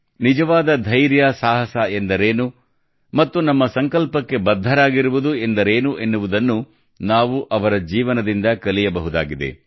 ನಿಜವಾದ ಧೈರ್ಯ ಸಾಹಸವೆಂದರೇನು ಮತ್ತು ನಮ್ಮ ಸಂಕಲ್ಪಕ್ಕೆ ಬದ್ಧರಾಗಿರುವುದು ಎಂದರೇನು ಎನ್ನುವುದನ್ನು ನಾವು ಅವರ ಜೀವನದಿಂದ ಕಲಿಯಬಹುದಾಗಿದೆ